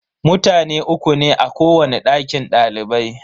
Mutane uku ne a kowani dakin dalibai.